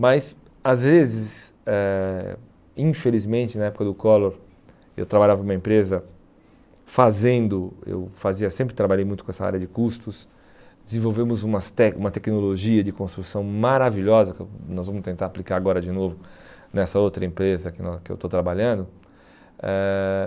Mas, às vezes, eh infelizmente, na época do Collor, eu trabalhava numa empresa fazendo, eu fazia sempre trabalhei muito com essa área de custos, desenvolvemos umas tec uma tecnologia de construção maravilhosa, que nós vamos tentar aplicar agora de novo nessa outra empresa que nós que eu estou trabalhando. Eh